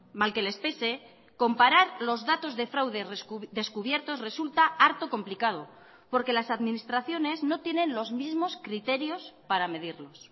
mal que les pese comparar los datos de fraude descubiertos resulta harto complicado porque las administraciones no tienen los mismos criterios para medirlos